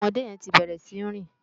Òmòdé yèn ti bèrè si ni rin